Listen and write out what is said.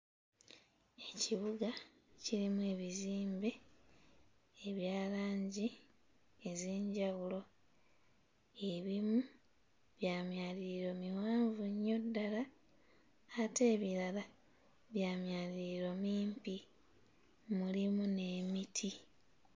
Ekibuga kirimu ebizimbe ebya langi ez'enjawulo. Ebimu bya myaliiro miwanvu nnyo ddala ate ebirala bya myaliriro mimpi; mulimu n'emiti.